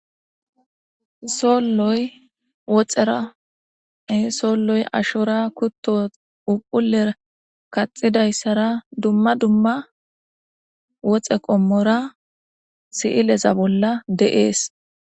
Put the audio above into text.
Solloy woxerae solloy ashora kutto upuler kaxidayssara dumma dumma woxe qommora siileza bolla deees.